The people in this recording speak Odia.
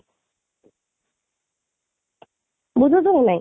ବୁଝୁଛୁ ନା ନାହିଁ